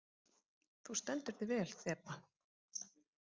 Þú stendur þig vel, Þeba!